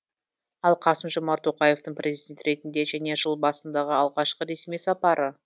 ал қасым жомарт тоқаевтың президент ретінде және жыл басындағы алғашқы ресми сапары